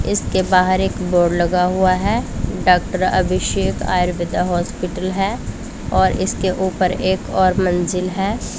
इसके बाहर एक बोर्ड लगा हुआ है डॉक्टर अभिषेक आयुर्वेदा हॉस्पिटल है और इसके ऊपर एक और मंजिल है।